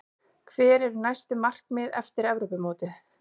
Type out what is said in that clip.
Hver eru næstu markmið eftir Evrópumótið?